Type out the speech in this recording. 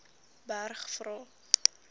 berg vra